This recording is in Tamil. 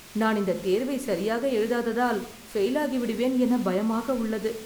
நான் இந்த தேர்வை சரியாக எழுதாதால் பெயில் ஆகி விடுவேன் என பயமாக உள்ளது